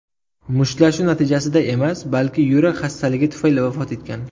mushtlashuv natijasida emas, balki yurak xastaligi tufayli vafot etgan.